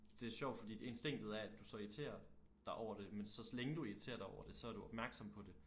Det sjovt fordi instinket er at du så irriterer dig over det men så længe du irriterer dig over det så er du opmærksom på det